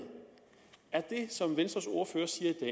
er det som venstres ordfører siger i